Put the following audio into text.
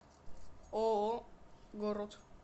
ооо город